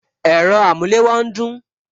Ẹ̀rọ amulewo ń dún